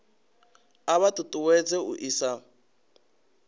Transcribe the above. a vha ṱuṱuwedza u isa